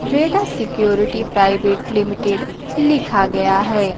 Red as security private limited लिखा गया है।